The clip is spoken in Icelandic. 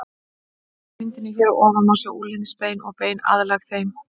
Á myndinni hér að ofan má sjá úlnliðsbein og bein aðlæg þeim.